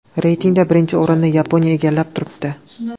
Reytingda birinchi o‘rinni Yaponiya egallab turibdi.